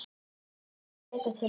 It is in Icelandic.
Reka og breyta til aftur?